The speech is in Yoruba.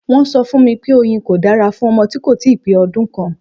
Wọ́n sọ fún mi pé oyin kò dára fún ọmọ tí kò ì tíì pé ọdún kan.